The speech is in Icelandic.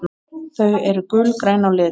Þau eru gulgræn á lit.